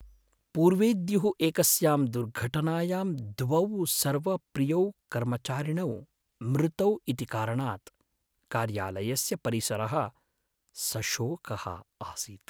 पूर्वेद्युः एकस्यां दुर्घटनायां द्वौ सर्वप्रियौ कर्मचारिणौ मृतौ इति कारणात् कार्यालयस्य परिसरः सशोकः आसीत्।